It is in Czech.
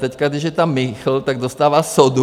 Teď když je tam Michl, tak dostává sodu.